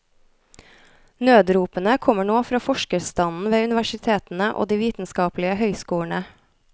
Nødropene kommer nå fra forskerstanden ved universitetene og de vitenskapelige høyskolene.